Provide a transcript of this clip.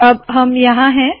अब हम यहाँ है